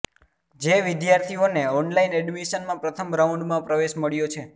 જે વિદ્યાર્થીઓને ઓનલાઈન એડમિશનમાં પ્રથમ રાઉન્ડમાં પ્રવેશ મળ્યો છે